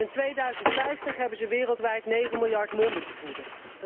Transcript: En in 2050 hebben ze wereldwijd negen miljard monden te voeden.